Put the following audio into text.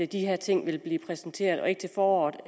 de her ting vil blive præsenteret og ikke til foråret